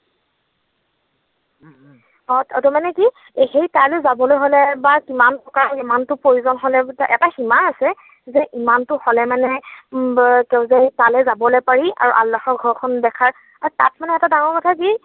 অ, মানে কি সেই তালৈ যাবলৈ হলে বা কিমান টকা, কিমানটো প্ৰয়োজন হলে মানে এটা সীমা আছে, যে ইমানটো হলে মানে তেওঁ যে তালৈ যাবলৈ পাৰি আৰু আল্লাহৰ ঘৰখন দেখাৰ, তাত মানে এটা ডাঙৰ কথা কি